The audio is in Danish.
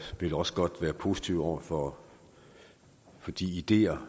vil også godt være positive over for de ideer